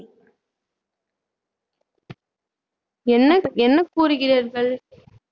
என்ன என்ன கூறுகிறீர்கள்